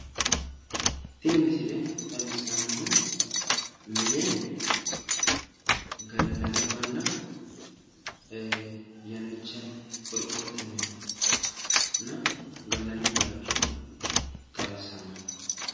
tini misile xawissannohu mine gallanniwanna yannicha qorqorrote minenna gallani bayiicho xawissanno